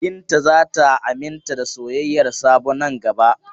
Binta za ta aminta da soyayyar Sabo nan gaba.